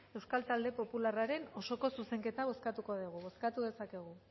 euskal talde popularraren osoko zuzenketa bozkatuko dugu bozkatu dezakegu